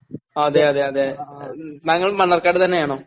അതെയതെയതേ ഉം നങ്ങൾ മണ്ണാർക്കാട് തന്നെയാണോ?